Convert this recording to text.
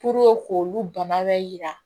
k'olu bana bɛ jira